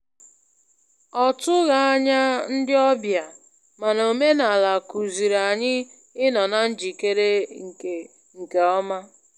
Ọ tụghị ányá ndị ọbịa, mànà omenala kuziiri anyị inọ na njikere nke nke ọma.